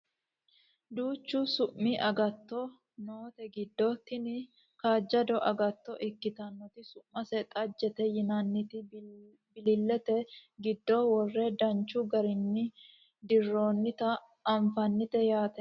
duuchu su'mi agato noote giddo tini kaajjado agatto ikkitinoti su'mase xajjete yianniti bililete giddo worre danchu garinni dirroonnita anfannite yaate